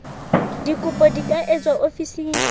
dikopo di ka etswa ofising